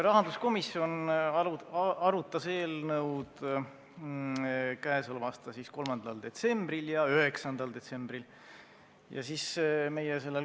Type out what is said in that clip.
Rahanduskomisjon arutas eelnõu k.a 3. detsembril ja 9. detsembril.